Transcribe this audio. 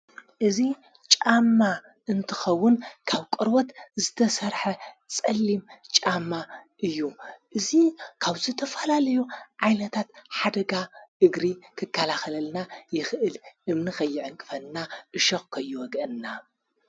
እዙ ጫማ እንትኸውን ካብ ቈርወት ዝተሠርሐ ጸሊም ጫማ እዩ እዙ ካብዝተፈላለዮ ዓይለታት ሓደጋ እግሪ ክካላኸለልና ይኽእል እምኒኸይዐንክፈና እሸቕኮይወግአና።